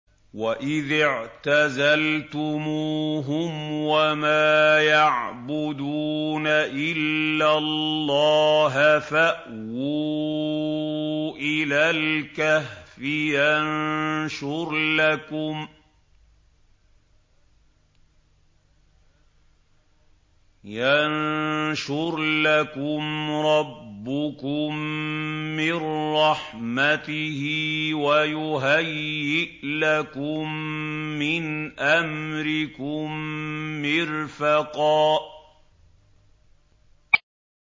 وَإِذِ اعْتَزَلْتُمُوهُمْ وَمَا يَعْبُدُونَ إِلَّا اللَّهَ فَأْوُوا إِلَى الْكَهْفِ يَنشُرْ لَكُمْ رَبُّكُم مِّن رَّحْمَتِهِ وَيُهَيِّئْ لَكُم مِّنْ أَمْرِكُم مِّرْفَقًا